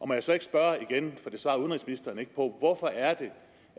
må jeg så ikke spørge igen for det svarer udenrigsministeren ikke på hvorfor